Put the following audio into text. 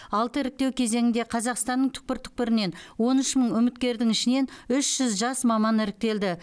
алты іріктеу кезеңінде қазақстанның түкпір түкпірінен он үш мың үміткердің ішінен үш жүз жас маман іріктелді